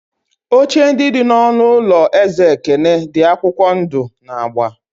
Oche ndị dị n'ọnụ ụlọ eze ekene di akwụkwọ ndụ na agba.